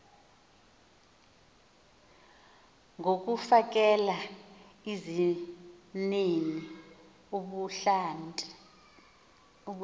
ngokufakela izimnini ubuhlanti